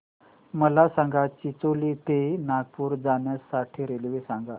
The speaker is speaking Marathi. मला चिचोली ते नागपूर जाण्या साठी रेल्वे सांगा